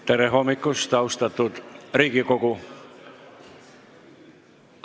Tere hommikust, austatud Riigikogu!